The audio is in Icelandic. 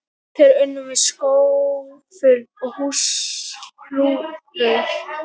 Þeir unnu með skóflum og hlújárnum.